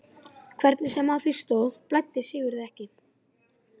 Hvernig sem á því stóð blæddi Sigurði ekki.